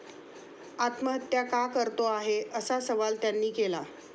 आत्महत्या का करतो आहे, असा सवाल त्यांनी केला.